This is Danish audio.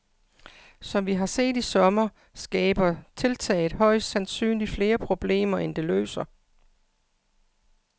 Som vi har set i sommer, skaber tiltaget højst sandsynlig flere problemer, end det løser.